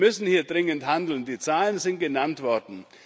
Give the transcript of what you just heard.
Wir müssen hier dringend handeln die Zahlen sind genannt worden.